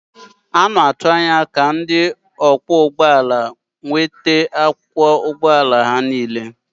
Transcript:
A na-atụ anya ka ndị ọkwọ ụgbọ ala nweta akwụkwọ ụgbọ ala ha niile.